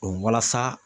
walasa